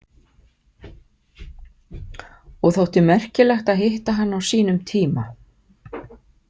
Og þótti merkilegt að hitta hann á sínum tíma.